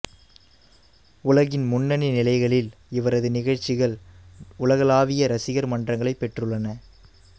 உலகின் முன்னணி நிலைகளில் இவரது நிகழ்ச்சிகள் உலகளாவிய ரசிகர் மன்றங்களைப் பெற்றுள்ளன